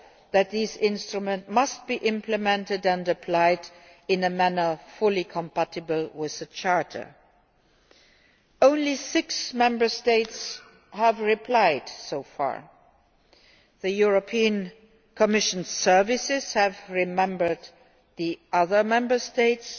that these instruments must be implemented and applied in a manner fully compatible with the Charter. Only six Member States have replied so far. The European Commission services reminded the other Member States